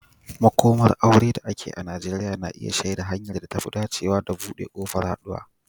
Makomar aure da ake yi a Najeriya na iya shaida hanyar da ta fi dacewa da buɗe ƙofar haɗuwa.